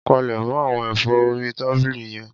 Palẹ̀mọ̀ àwọn ẹ̀fọ́ orí tábìlì yẹn.